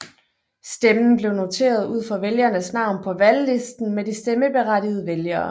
Stemmen blev noteret ud for vælgerens navn på valglisten med de stemmeberettigede vælgere